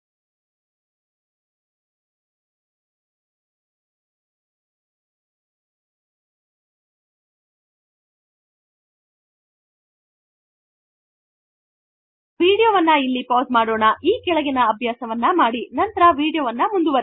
ಈಗ ವೀಡಿಯೊ ವನ್ನು ಇಲ್ಲಿ ಪೌಸ್ ಮಾಡೋಣ ಈ ಕೆಳಗಿನ ಅಭ್ಯಾಸವನ್ನು ಮಾಡಿ ನಂತರ ವೀಡಿಯೊ ಮುಂದುವರೆಸಿ